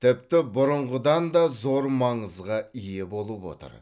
тіпті бұрынғыдан да зор маңызға ие болып отыр